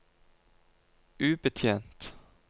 ubetjent